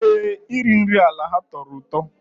Ee, iri nri ala ha tọrọ ụtọ